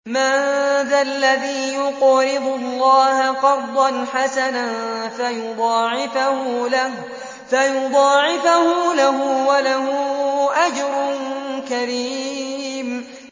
مَّن ذَا الَّذِي يُقْرِضُ اللَّهَ قَرْضًا حَسَنًا فَيُضَاعِفَهُ لَهُ وَلَهُ أَجْرٌ كَرِيمٌ